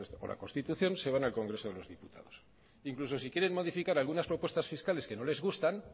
por la constitución se van al congreso de los diputados incluso si quieren modificar algunas propuestas fiscales que no les gustan